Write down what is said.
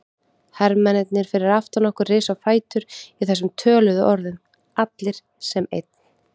Hermennirnir fyrir aftan okkur risu á fætur í þessum töluðum orðum, allir sem einn.